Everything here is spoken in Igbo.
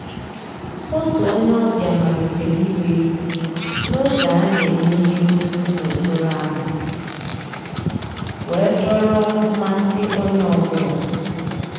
Ótú ónyé ọ̀bíá màlítérè ìgbá égwú n'ògé á ná-èmè íhé ngósì n'òkpòró ámá wéé dòọ́rọ́ mmàsí ónyé ọ́ bụ́là..